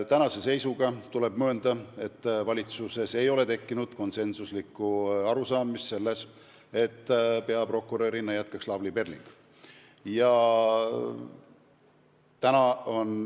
Tänase seisuga tuleb öelda, et valitsuses ei ole tekkinud konsensuslikku arusaama, et peaprokurörina jätkab Lavly Perling.